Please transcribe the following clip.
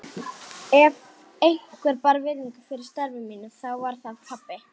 Ef einhver bar virðingu fyrir starfi mínu þá var það pabbi.